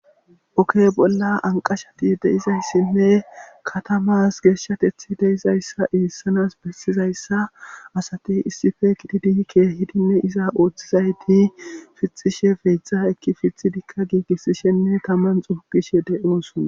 Oke bolla anqashati deizayssinne katamas geeshshatethi deizayssa iissanas bessizayssa asati issife kitidi keehidinne iza ooththizayti fixishe feytha ekki fithidikka giigissishenne taman xuugishe de'oosuna